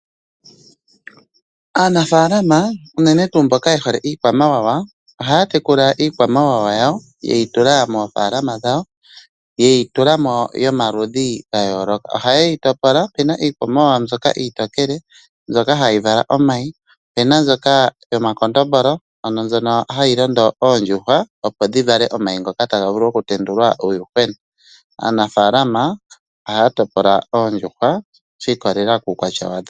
Aanafaalama uunene tuu mboka ye hole iikwamawawa ohaya tekula iikwamawawa yawo yeti tula moofalama dhawo yeti tula mo yomaludhi ga yooloka. Ohaye yi topola. Opuna iikwamawawa mbyoka iitookele mbyoka hayi vala omayi, opuna omakondombolo ngoka haga londo oondjuhwa opo dhi vale omayi ngoka taga vulu oku tendulwa uuyuhwena. Aanafalama ohaya topola oondjuhwa shi ikwatelela komaludhi gadho.